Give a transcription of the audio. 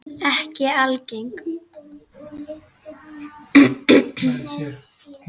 Ekki algeng.